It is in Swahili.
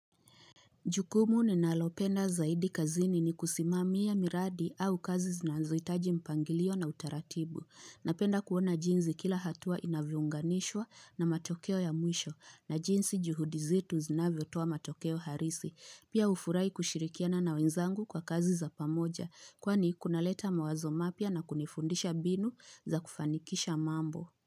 Jukumu ni nalopenda zaidi kazini ni kusimamia miradi au kazi zinanzohitaji mpangilio na utaratibu. Napenda kuona jinzi kila hatua inavyounganishwa na matokeo ya mwisho na jinzi juhudizitu zinavyo toa matokeo harisi. Pia ufurai kushirikiana na wenzangu kwa kazi za pamoja kwani kuna leta mawazo mapya na kunifundisha binu za kufanikisha mambo.